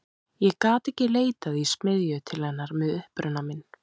Ég gat ekki leitað í smiðju til hennar með uppruna minn.